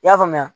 I y'a faamuya